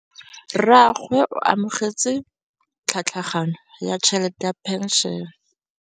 Rragwe o amogetse tlhatlhaganyô ya tšhelête ya phenšene.